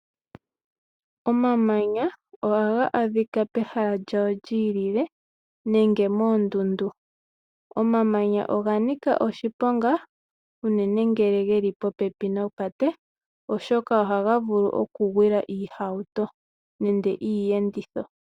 Omamanya ohaga adhika pehala lyawo lyiilile nenge moondunda. Omamanya oga nika oshiponga unene ngele geli popepi nopate oshoka ohaga vulu okugwila iihauto nenge iiyenditho.